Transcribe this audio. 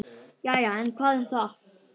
Jæja, en hvað um það.